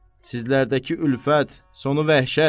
Sizlərdəki ülfət, sonu vəhşət.